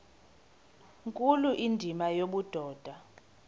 nkulu indima yobudoda